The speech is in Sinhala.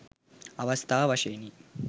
අවස්ථාව වශයෙනි.